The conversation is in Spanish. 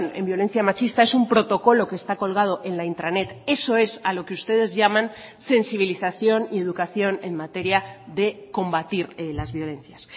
en violencia machista es un protocolo que está colgado en la intranet eso es a lo que ustedes llaman sensibilización y educación en materia de combatir las violencias